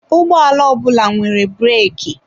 Ụgbọ ala ọ bụla nwere breki